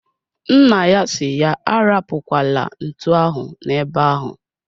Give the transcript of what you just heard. Nna ya si ya arapukwala ntu ahụ na ebe ahu